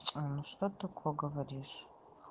что такое говоришь